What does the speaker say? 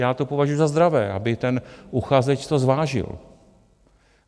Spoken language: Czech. Já to považuju za zdravé, aby ten uchazeč to zvážil.